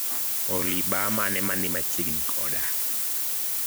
Olly baa mane mani machiegni koda?